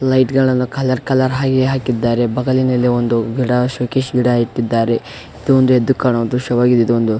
light ಗಳನ್ನೂ colour colour ಹೈ ಹಾಕಿದ್ದಾರೆ ಬಗಲಿನಲ್ಲಿ ಒಂದು ಶೋಕೇಸ್ ಗಿಡ ಇಟ್ಟಿದ್ದಾರೆ ಇದು ಒಂದು ಎದ್ದ್ ಕಣೋ ದ್ರಶ್ಯವಾಗಿದೆ ಇದೊಂದು--